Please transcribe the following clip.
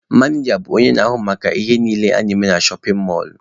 Manịja bụ onye na-ahụ maka ihe niile na-eme na shọpin mọlụ.